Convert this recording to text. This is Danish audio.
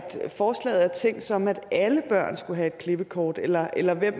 forslaget er tænkt sådan at alle børn skulle have et klippekort eller eller hvem